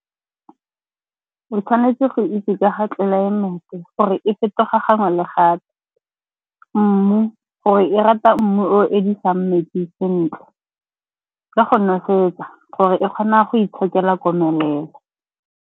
O tshwanetse go itse ka ga tlelaemete gore e fetoga gangwe le gape, mmu gore e rata mmu o o eledisang metsi sentle, ka go nosetsa gore e kgona go itshokela komelelo.